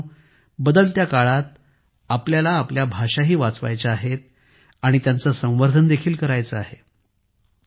मित्रांनो बदलत्या काळात आपल्याला आपल्या भाषा वाचवायच्या आहेत आणि त्यांचे संवर्धन देखील करायचे आहे